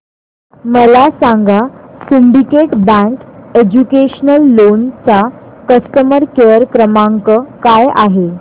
मला सांगा syndicate bank educational loan चा कस्टमर केअर क्रमांक काय आहे